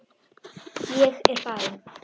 Ég er farinn